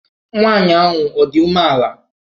Nwaanyị ahụ ọ dị umeala?